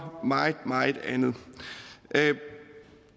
meget meget andet